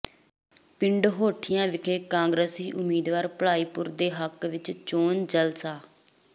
ਪਿੰਡ ਹੋਠੀਆਂ ਵਿਖੇ ਕਾਂਗਰਸੀ ਉਮੀਦਵਾਰ ਭਲਾਈਪੁਰ ਦੇ ਹੱਕ ਵਿਚ ਚੋਣ ਜਲਸਾ